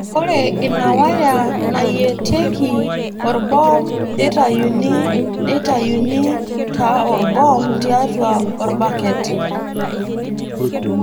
Ore ina waya nayietieki orboom neitayuni neitayuni taa orboom tiatua orbaket.